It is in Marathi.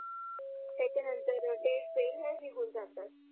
त्याच्या नंतर डेडसेल हे निगुण जातात